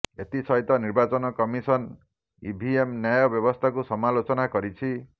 ଏଥିସହିତ ନିର୍ବାଚନ କମିସନ ଇଭିଏମ ନ୍ୟାୟ ବ୍ୟବସ୍ଥାକୁ ସମାଲୋଚନା କରିଛି